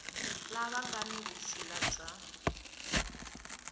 lava nga ni vutshila bya